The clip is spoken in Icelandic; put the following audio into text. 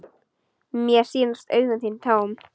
Mér sýnast augu þín tóm.